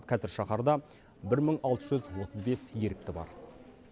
қазір шаһарда бір мың алты жүз отыз бес ерікті бар